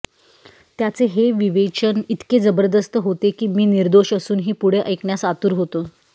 त्याचे हे विवेचन इतके जबरदस्त होते की मी निर्दोष असूनही पुढे ऐकण्यास आतुर होतो